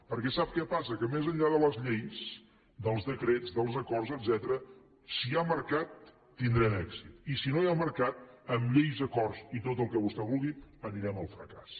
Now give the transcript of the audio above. perquè sap què passa que més enllà de les lleis dels decrets dels acords etcètera si hi ha mercat tindran èxit i si no hi ha mercat amb lleis acords i tot el que vostè vulgui anirem al fracàs